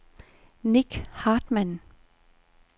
Nick Hartmann